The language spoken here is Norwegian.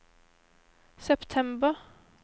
september